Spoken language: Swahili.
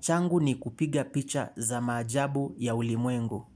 Changu ni kupiga picha za maajabu ya ulimwengu.